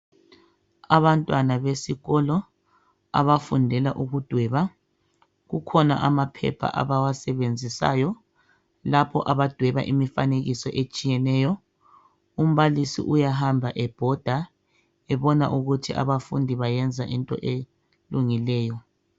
Abantwana besikolo abafundela ukudweba, kukhona amaphepha abawasebenzisayo lapho abadweba imifanekiso etshiyeneyo ,umbalisi uyahamba ebhoda ebona ukuthi abafundi bayenza into elungileyo.